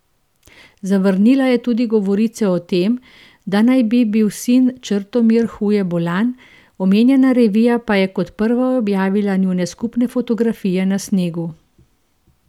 Zavrnila je tudi govorice o tem, da naj bi bil sin Črtomir huje bolan, omenjena revija pa je kot prva objavila njune skupne fotografije na snegu.